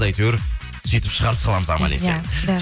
әйтеуір сүйтіп шығарып саламыз аман есен иә да